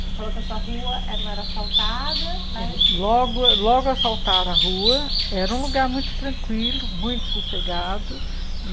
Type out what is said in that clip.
Você falou que a sua rua não era asfaltada, mas... Logo logo a asfaltaram a rua, era um lugar muito tranquilo, muito sossegado.